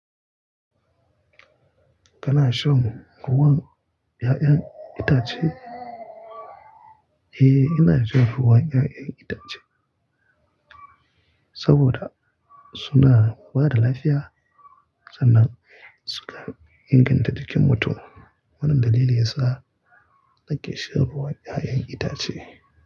Kana shan ruwan 'ya'yan itace? Eh, ina shan ruwan 'ya'yan itace saboda suna bada lafiya sannan suka inganta jikin mutum. Wannan dalili yasa nake shan ruwan 'ya'yan itace.